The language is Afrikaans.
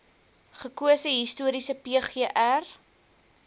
gekose historiese pgr